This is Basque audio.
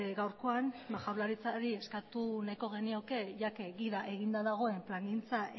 gaurkoan ba jaurlaritzari eskatu nahiko genioke gida eginda dagoenez plangintza